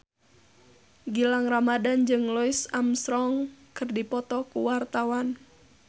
Gilang Ramadan jeung Louis Armstrong keur dipoto ku wartawan